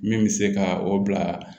Min bɛ se ka o bila